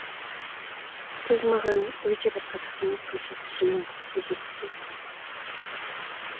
сіз маған өте бір қызық мінез көрсетіп жүргеніңізді сезесіз бе